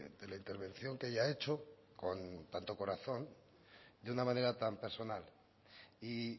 de la intervención que ella ha hecho con tanto corazón de una manera tan personal y